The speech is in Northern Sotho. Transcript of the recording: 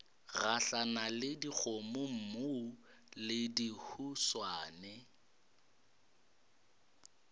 gahlana le dikgomommuu le dihuswane